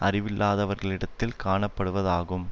அறிவில்லாதவர்களிடத்தில் காணப்படுவதாகும்